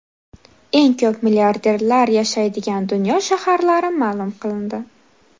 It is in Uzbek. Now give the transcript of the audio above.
Eng ko‘p milliarderlar yashaydigan dunyo shaharlari ma’lum qilindi.